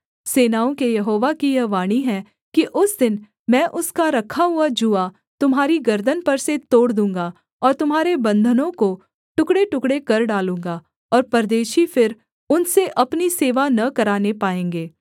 सेनाओं के यहोवा की यह वाणी है कि उस दिन मैं उसका रखा हुआ जूआ तुम्हारी गर्दन पर से तोड़ दूँगा और तुम्हारे बन्धनों को टुकड़ेटुकड़े कर डालूँगा और परदेशी फिर उनसे अपनी सेवा न कराने पाएँगे